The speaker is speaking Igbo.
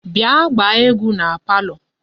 Bia gbaa egwu na palo